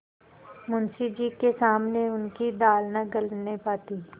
मुंशी जी के सामने उनकी दाल न गलने पाती